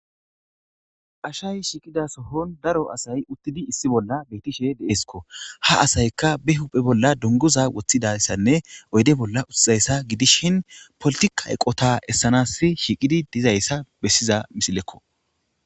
Asayi shiqidda so'onni daro asayi uttidi issi bolla shiqishshe desikko .haa asayikka baa huphphe bolla duniguza wothidayissanne oyidd bolla politikka eqota esanassi shiqidayiss besanassikko.